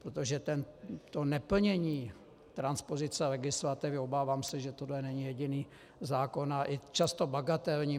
Protože to neplnění transpozice legislativy, obávám se, že tohle není jediný zákon, a i často bagatelní...